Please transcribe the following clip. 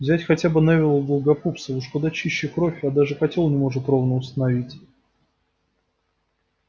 взять хотя бы невилла долгопупса уж куда чище кровь а даже котёл не может ровно установить